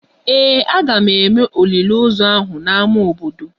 Ee, a ga-eme olili ozu ahụ n'ámá obodo